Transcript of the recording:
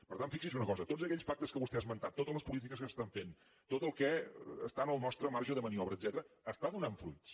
per tant fixi’s en una cosa tots aquells pactes que vostè ha esmentat totes les polítiques que s’estan fent tot el que està en el nostre marge de maniobra etcètera està donant fruits